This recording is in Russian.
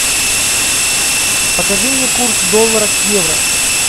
покажи мне курс доллара к евро